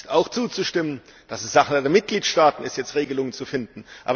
Es ist auch zuzustimmen, dass es Sache der Mitgliedstaaten ist, jetzt Regelungen zu finden.